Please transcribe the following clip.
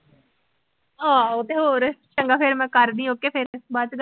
ਆਹੋ ਤੇ ਹੋਰ, ਚੰਗਾ ਫਿਰ ਮੈਂ ਕਰਦੀ ਆ okay ਫਿਰ ਬਾਅਦ ਚ ਗੱਲ